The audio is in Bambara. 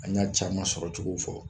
An y'a cama sɔrɔcogow fɔ